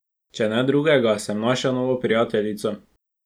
Če ne drugega, sem našel novo prijateljico.